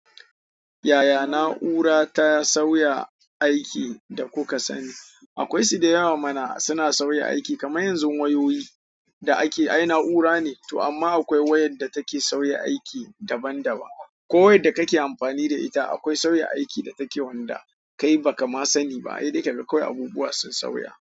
Yaya na'ura ta sauya aikin da kuka sani? Akwai su da yawa mana suna sauya aiki kaman yanzu wayoyi da ake ai na'ura ne, to amma akwai wayan da take sauya aiki daban-daban. Ko wayadda kake amfani da ita, akwai sauya aiki da take wanda kai ba ka ma sani ba. Sai dai kaga kawai abubuwa sun sauya.